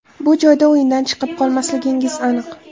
Bu joyda o‘yindan chiqib qolmasligingiz aniq.